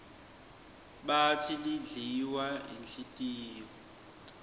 batsi lidliwa yinhlitiyo